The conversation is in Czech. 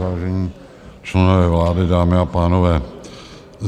Vážení členové vlády, dámy a pánové.